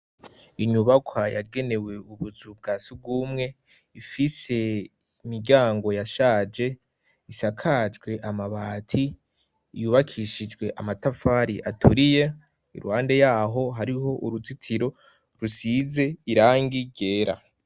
Inyubakwa yagenewe ubuzu bwa sugumwe ifise imiryango yashaje, isakajwe amabati, yubakishijwe amatafari aturiye, iruhande yaho hariho uruzitiro rusize irangi ryera.